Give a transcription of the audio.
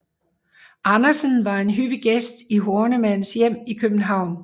Andersen var en hyppig gæst i Hornemanns hjem i København